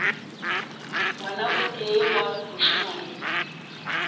ngwana o tee wa mošemane